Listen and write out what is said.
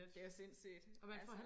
Det er sindssygt altså